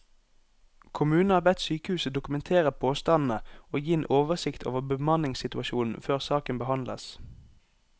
Kommunen har bedt sykehuset dokumentere påstandene og gi en oversikt over bemanningssituasjonen før saken behandles.